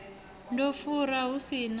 nda fura hu si na